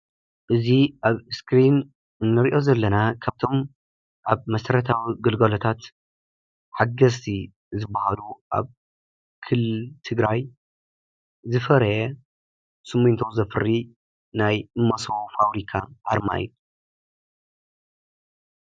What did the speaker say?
እዚ አብ እስክሪን እንሪኦ ዘለና ካብቶም አብ መሰረታዊ ግልጋሎታት ሓገዝቲ ዝበሃሉ አብ ክልል ትግራይ ዝፈረየ ስሚንቶ ዘፍሪ ናይ መሰቦ ፋብሪካ አርማ እዩ፡፡